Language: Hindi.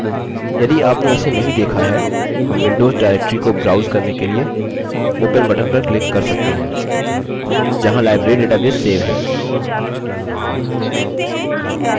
यदि open इसे नही देखा है हम windows directory को browse करने के लिए open button पर click कर सकते हैं जहाँ library database सेव है